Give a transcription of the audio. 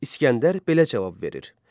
İsgəndər belə cavab verir: